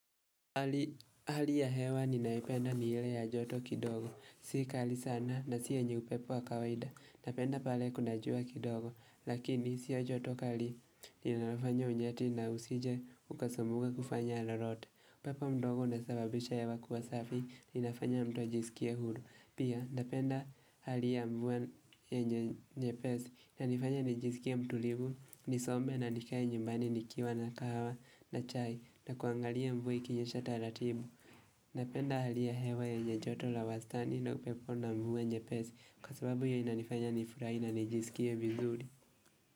Hali ya hewa ninaipenda ni ile ya joto kidogo, si kali sana na si yenye upepo wa kawaida, napenda pale kunajua kidogo, lakini siyo joto kali ninafanya unyeti na usije ukasumbuka kufanya lolote. Upepo mdogo unasababisha hewa kuwa safi inafanya mtu ajiskie huru Pia, napenda hali ya mvua yenye nyepesi inanifanya nijisikie mtulivu, nisome na nikae nyumbani nikiwa na kahawa na chai na kuangalia mvua ikinyesha taratibu Napenda hali ya hewa yenye joto la wastani na upepo na mvua nyepesi Kwa sababu hiyo inanifanya nifurahi na nijiskie vizuri.